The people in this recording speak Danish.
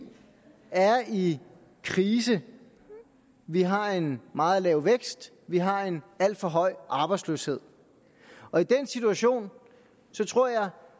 er i krise vi har en meget lav vækst vi har en alt for høj arbejdsløshed og i den situation tror jeg